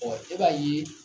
Ɔ e b'a ye